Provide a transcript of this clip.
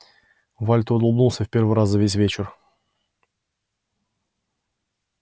вальто улыбнулся в первый раз за весь вечер